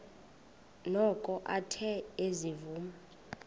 noko athe ezivuma